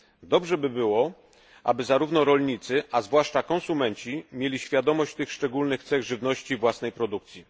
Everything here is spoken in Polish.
Dobrze by było, aby zarówno rolnicy, a zwłaszcza konsumenci, mieli świadomość tych szczególnych cech żywności własnej produkcji.